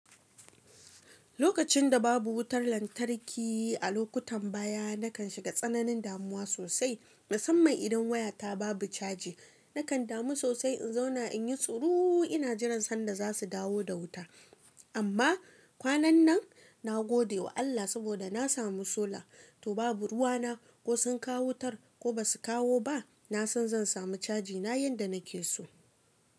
Lokacin da babu wutar lantarki a lokutan baya, na kan shiga tsananin damuwa sosai. Musamman idan wayata babu caji, na kan damu sosai in zauna in yi tsuru ina jiran sanda za su dawo da wuta. Amma kwanan nan na gode wa Allah saboda na samu solar. To babu ruwa na ko sun kawo wutar ko ba su kawo ba, na san zan samu cajina yanda nake so.